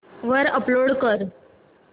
वर अपलोड कर